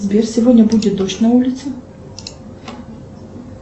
сбер сегодня будет дождь на улице